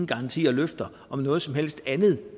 garanti eller løfter om noget som helst andet